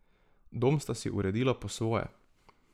Dom sta si uredila po svoje.